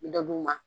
Dɔ d'u ma